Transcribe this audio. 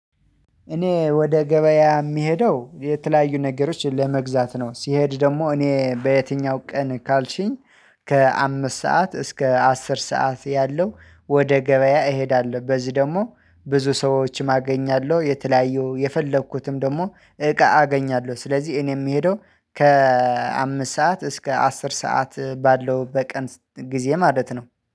እኔ ወደ ገበያ የምሄደው የተለያዩ ነገሮችን ለመግዛት ነው፤ ሲሄድ ደግሞ እኔ በየትኛው ቀን ካልሽኝ ከአምስት ሰዓት እስከ አስር ሰዓት ያለው ወደ ገበያ እሄዳለሁ። በዚህ ደግሞ ብዙ ሰዎችም አገኛለሁ፤ የተለያዩ የፈለኩትም ደግሞ እቃ አገኛለሁ። ስለዚህ እኔ የምሄደው ከአምስት ሰዓት እስከ አስር ሰዓት ባለው በቀን ጊዜ ማለት ነው።